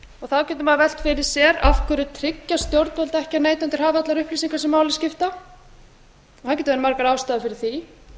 þá getur maður velt fyrir sér af hverju tryggja stjórnvöld ekki að neytendur hafi allar upplýsingar sem máli skipta það geta verið margar ástæður fyrir því